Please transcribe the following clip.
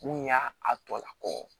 Mun y'a a tɔla kɔ